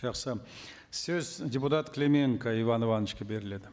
жақсы сөз депутат клименко иван ивановичке беріледі